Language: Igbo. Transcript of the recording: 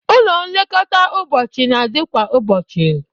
Ụlọ nlekọta ụbọchị na-adị kwa ụbọchị